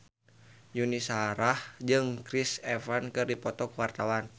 Yuni Shara jeung Chris Evans keur dipoto ku wartawan